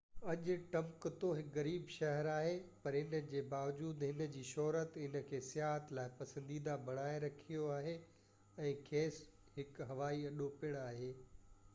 اڄ ٽمبڪتو هڪ غريب شهر آهي پر ان جي باوجود هن جي شهرت هن کي سياحت لاءِ پسنديده بڻائي رکيو آهي ۽ کيس هڪ هوائي اڏو پڻ آهي